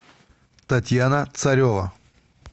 татьяна царева